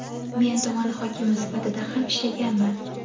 Men tuman hokimi sifatida ham ishlaganman.